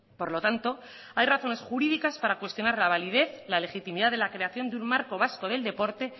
por lo tanto hay razones jurídicas para cuestionar la validez la legitimidad de la creación de un marco vasco del deporte